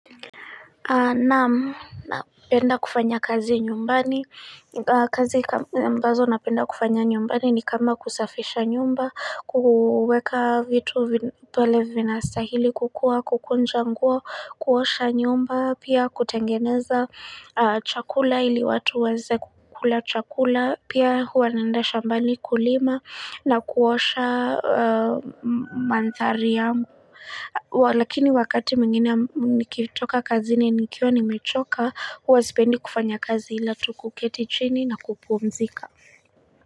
Na'am, napenda kufanya kazi nyumbani, kazi ambazo napenda kufanya nyumbani ni kama kusafisha nyumba, kuweka vitu pale vinatsahili kukuwa, kukunja nguo, kuosha nyumba, pia kutengeneza chakula ili watu waweze kukula chakula, pia hua naenda shambani kulima na kuosha mandhari yangu. Lakini wakati mwingine nikitoka kazini nikiwa nimechoka huwa sipendi kufanya kazi ila tu kuketi chini na kupumzika.